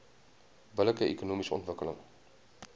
billike ekonomiese ontwikkeling